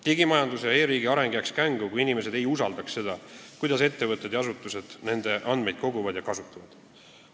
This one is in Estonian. Digimajanduse ja e-riigi areng jääks kängu, kui inimesed ei usaldaks seda, kuidas ettevõtted ja asutused nende andmeid koguvad ja kasutavad.